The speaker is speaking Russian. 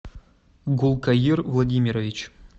гулкаир владимирович